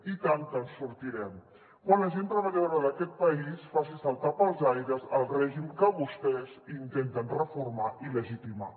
i tant que en sortirem quan la gent treballadora d’aquest país faci saltar pels aires el règim que vostès intenten reformar i legitimar